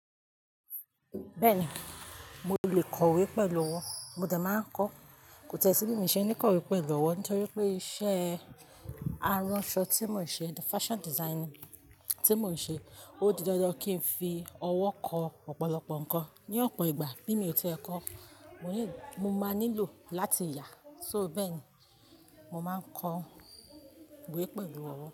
Bẹ́ẹ̀ni, mo lè kọ̀wé pẹ̀lú ọwọ́, mo de máa ń kọ. Kò tẹ́sí mí ṣe ní kọ̀wé pẹ̀lú ọwọ́ nítorí pé iṣẹ́ aránṣọ tí mò ń ṣe, fashion design tí mò ń ṣe, ó di dandan kí n fi ọwọ́ kọ ọ̀pọ̀lọpọ̀ ǹkan. Ni ọ̀pọ̀ ìgbà bí mi ò tiẹ̀ kọ, mo ní mo máa nílò láti yà. So bẹ́ẹ̀ni, mo máa ń kọ ìwé pẹ̀lú ọwọ́.